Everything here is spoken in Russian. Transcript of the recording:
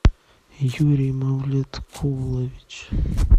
юрий мавлеткулович